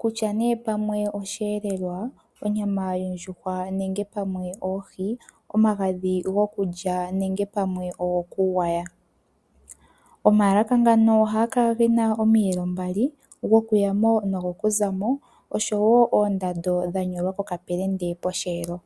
kutya ne pamwe oshihelelwa onyama yondjuhwa nenge pamwe oohi, omagadhi gokulya nenge pamwe ogoku gwaya. Omaalaka ngano ohagakala gena omiyelo mbali gokuyamo nogokuzamo osho wo oondando dhanyolwa pokapelende posheelo.